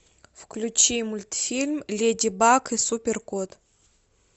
включи мультфильм леди баг и супер кот